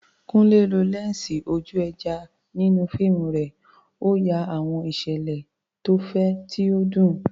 Kunle lo lẹ́ńsì ojú ẹja nínú fíìmù rẹ̀, ó ya àwọn ìṣẹ̀lẹ̀ tó fẹ̀, tí ó dùn.